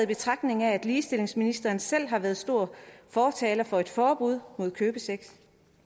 betragtning af at ligestillingsministeren selv har været stor fortaler for et forbud mod købesex